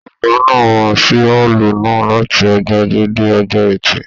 Ọgá náà máa n sí ọọlú náà láti ọjọ ajé dé ọjọ ẹtì.